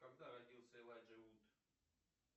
когда родился элайджа вуд